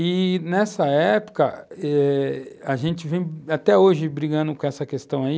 E, nessa época, eh a gente vem até hoje brigando com essa questão aí,